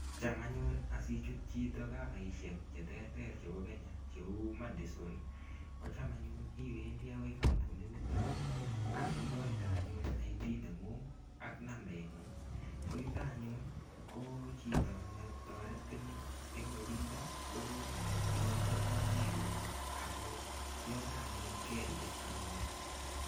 Cham anyun asichut chito covaishek cheterter chebo Kenya cheu Madison ko cham anyun iwendi akoi kampunit nito akikoite anyun ID neng'ung' ak nambe ng'ung' ko yuto anyun ko chito netoretin eng' olindo ko ikoitoi kainaikuk ako yoto anyun kerigistanun